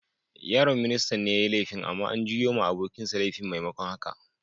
Yaron ministan ne yayi laifin, amma an juyo ma abokin sa laifin maimakon haka.